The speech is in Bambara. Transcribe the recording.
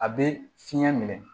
A bɛ fiɲɛ minɛ